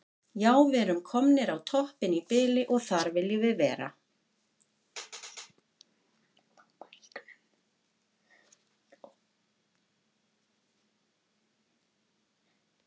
Já við erum komnir á toppinn í bili og þar viljum við vera.